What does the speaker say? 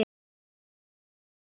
Spurðuð þið Björn Val?